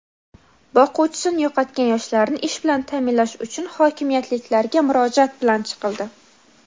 boquvchisini yo‘qotgan yoshlarni ish bilan ta’minlash uchun hokimiyatliklarga murojaat bilan chiqildi.